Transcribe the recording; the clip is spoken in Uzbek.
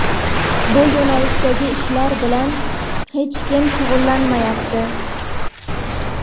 bu yo‘nalishdagi ishlar bilan hech kim shug‘ullanmayapti.